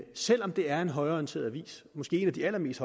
selv om det er en højreorienteret avis måske en af de allermest